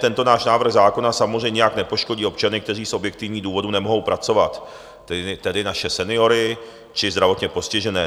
Tento náš návrh zákona samozřejmě nijak nepoškodí občany, kteří z objektivních důvodů nemohou pracovat, tedy naše seniory či zdravotně postižené.